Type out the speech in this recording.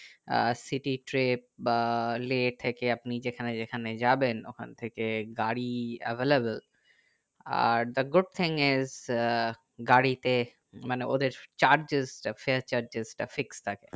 আহ city trip বা লে থেকে আপনি যেখানে যেখানে যাবেন ওখান থেকে গাড়ি available আর the good things is ah গাড়িতে মানে ওদের charges তা fear charges তা fixd থাকে